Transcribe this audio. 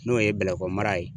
N'o ye bɛlɛkɔnɔ mara ye